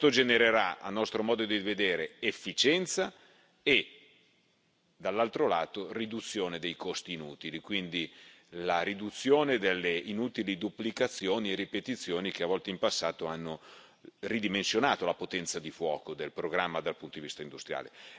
Questo genererà, a nostro modo di vedere, efficienza e, dall'altro lato, riduzione dei costi inutili, quindi la riduzione delle inutili duplicazioni e ripetizioni che a volte, in passato, hanno ridimensionato la potenza di fuoco del programma dal punto di vista industriale.